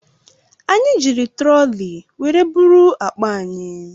Anyị jiri troli were buru akpa anyị.